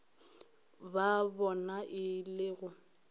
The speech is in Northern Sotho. ba bona e le go